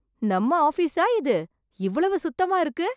நம்ம ஆபீஸா இது இவ்வளவு சுத்தமா இருக்கு!